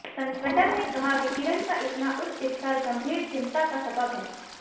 संगठन ने कहा विकिरण का इतना उच्च स्तर गंभीर चिंता का सबब है